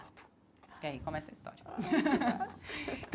É aí que começa a história.